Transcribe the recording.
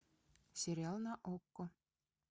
сериал на окко